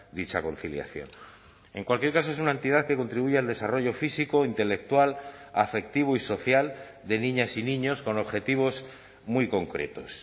dicha conciliación en cualquier caso es una entidad que contribuye al desarrollo físico intelectual afectivo y social de niñas y niños con objetivos muy concretos